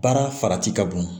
Baara farati ka bon